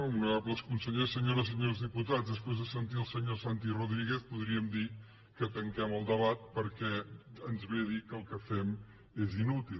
honorables consellers senyores i senyors diputats després de sentir el senyor santi rodríguez podríem dir que tanquem el debat perquè ens ve a dir que el que fem és inútil